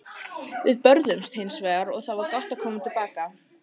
Við börðumst hins vegar og það var gott að koma til baka.